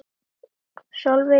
Sólveig: Og þú bíður?